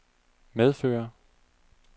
medføre